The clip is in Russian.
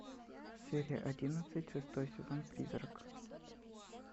серия одиннадцать шестой сезон призрак